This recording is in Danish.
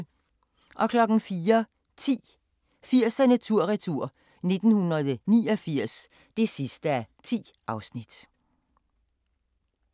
04:10: 80'erne tur-retur: 1989 (10:10)